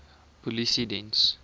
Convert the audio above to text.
polisiediens